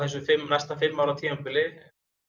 næsta fimm ára tímabili